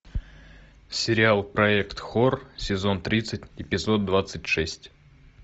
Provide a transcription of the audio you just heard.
сериал проект хор сезон тридцать эпизод двадцать шесть